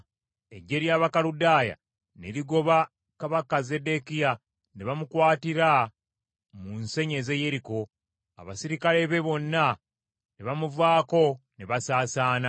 Eggye ly’Abakaludaaya ne ligoba kabaka Zeddekiya ne bamukwatira mu nsenyi ez’e Yeriko, Abaserikale be bonna ne bamuvaako ne basaasaana.